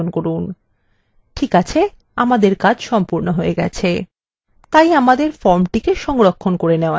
ঠিক আছে আমাদের কাজ সম্পূর্ণ হয়ে গেছে তাই আমাদের ফর্মটি সংরক্ষণ করে নেওয়া যাক এবং সেটিকে পরীক্ষা করে দেখা যাক